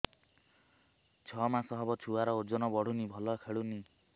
ଛଅ ମାସ ହବ ଛୁଆର ଓଜନ ବଢୁନି ଭଲ ଖେଳୁନି